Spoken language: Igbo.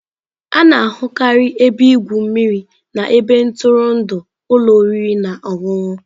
A na-ahụkarị ebe igwu mmiri na ebe ntụrụndụ ụlọ oriri na ọṅụṅụ.